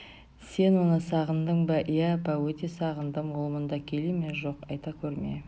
сен оны сағындың ба иә апа өте сағындым ол мұнда келе ме жоқ айта көрме